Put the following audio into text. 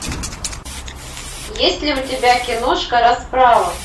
есть ли у тебя киношка расправа